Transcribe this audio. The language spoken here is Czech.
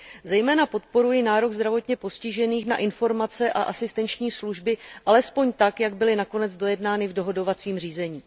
Zejména podporuji nárok zdravotně postižených na informace a asistenční služby alespoň tak, jak byly nakonec dojednány v dohodovacím řízení.